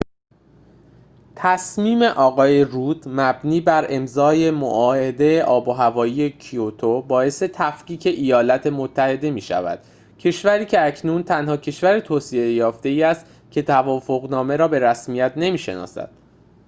تصمیم آقای رود مبنی بر امضای معاهده آب‌وهوایی کیوتو باعث تفکیک ایالات متحده می‌شود کشوری که اکنون تنها کشور توسعه‌یافته‌ای است که توافق‌نامه را به رسمیت نمی‌شناسد